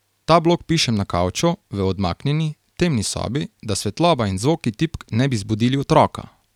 Ta blog pišem na kavču, v odmaknjeni, temni sobi, da svetloba in zvoki tipk ne bi zbudili otroka.